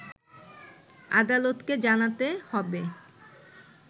আদালতকে জানাতে হবে